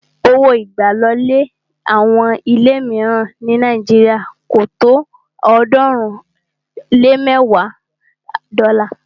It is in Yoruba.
Owó ìgbàlọlé àwọn ilé míìràn ní Nàíjírìà kò tó ọ̀ọ́dúnrún lé mẹ́ẹ̀wa dọ́là